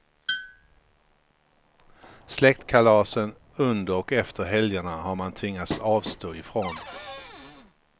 Släktkalasen under och efter helgerna har man tvingats avstå ifrån.